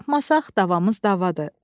Əgər tapmasaq davamız davadır.